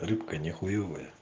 рыбка не хуевая